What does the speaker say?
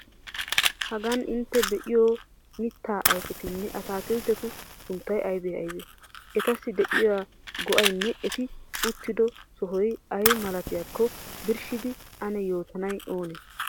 Hagan intte be'iyo mittaa ayfetinne ataakilttetu sunttay aybee? Etassi de'iya go'aynne eti uttido sohoy ay malatiyakko birshshidi ane yootanay oonee?